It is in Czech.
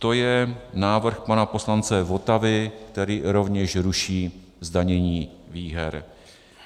To je návrh pana poslance Votavy, který rovněž ruší zdanění výher.